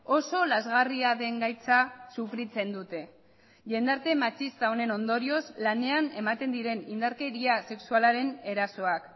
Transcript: oso lazgarria den gaitza sufritzen dute jendarte matxista honen ondorioz lanean ematen diren indarkeria sexualaren erasoak